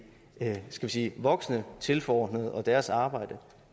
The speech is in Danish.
skal vi sige voksne tilforordnede og deres arbejde